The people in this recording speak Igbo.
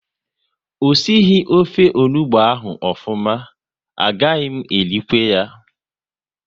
O sighi ofe onugbu ahụ ofuma, a gaghị m erikwu ya